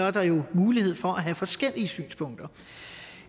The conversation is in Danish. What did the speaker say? at der er mulighed for at have forskellige synspunkter